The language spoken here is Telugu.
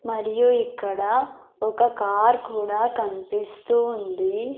మరియు ఇక్కడ ఒక కార్ కూడా కనిపిస్తుంది.